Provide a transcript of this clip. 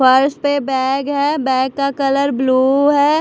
Purse पे bag है bag का कलर ब्लू है।